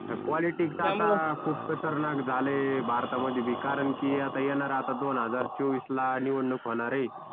पॉलिटिक्सच आता खूप खतरनाक झालंय भारतामध्ये बी कारण कि आता येणार आता दोन हजार चोवीस ला निवडणूक होणार आहे